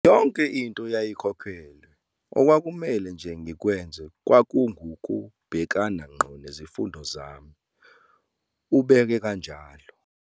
"Yonke into yayikhokheliwe, okwakumele nje ngikwenze kwakungukubhekana ngqo nezifundo zami," ubeke kanjalo.